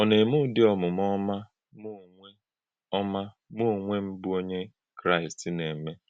Ọ̀ na-eme ụdị́ omume ọma mụ onwe ọma mụ onwe m bụ́ Onye Kraịst na-eme?